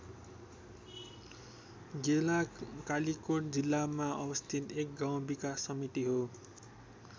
गेलाँ कालिकोट जिल्लामा अवस्थित एक गाउँ विकास समिति हो।